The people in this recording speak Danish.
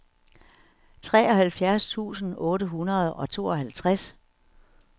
treoghalvfjerds tusind otte hundrede og tooghalvtreds